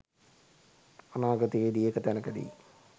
අනාගතයේදී එක තැනකදි